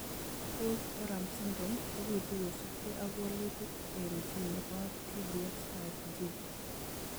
Holt oram syndrome kobitu kosubkei ak wolutik eng' gene nebo tbx5 gene